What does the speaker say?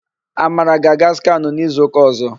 Amara ga-aga skanụ n'izuụka ọ̀zọ́.